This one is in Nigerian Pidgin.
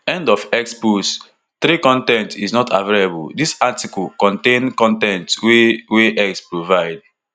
end of x post three con ten t is not available dis article contain con ten t wey wey x provide